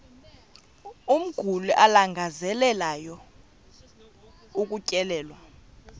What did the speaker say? umguli alangazelelayo ukutyelelwa